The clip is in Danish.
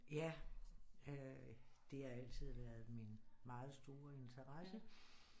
Ja øh det har altid været min meget store interesse